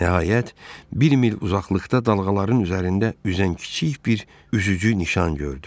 Nəhayət, bir mil uzaqlıqda dalğaların üzərində üzən kiçik bir üzücü nişan gördü.